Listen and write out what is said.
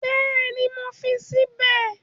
Bẹ́ẹ̀ni, mo fi sí bẹ̀